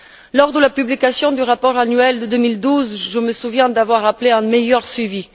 Lors de la publication du rapport annuel de 2012, je me souviens d'avoir appelé à un meilleur suivi.